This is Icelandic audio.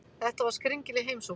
Þetta var skringileg heimsókn.